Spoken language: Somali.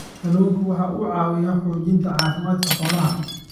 Kalluunku waxa uu caawiyaa xoojinta caafimaadka xoolaha.